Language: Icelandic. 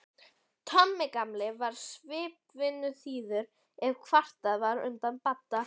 Tommi gamli var samvinnuþýður ef kvartað var undan Badda.